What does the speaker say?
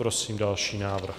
Prosím další návrh.